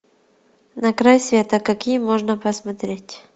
на край света какие можно посмотреть